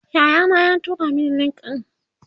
Yaya na ya tura Mani link ɗin